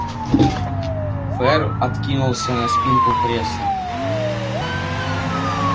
ферл откинулся на спинку кресла